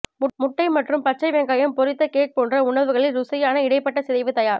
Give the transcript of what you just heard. முட்டை மற்றும் பச்சை வெங்காயம் பொறித்த கேக் போன்ற உணவுகளில் ருசியான இடைப்பட்டசிதைவு தயார்